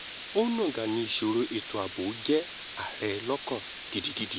onáńgá ni ìṣòro ètò ààbò jẹ́ ààrẹ lọ́kàn gidigidi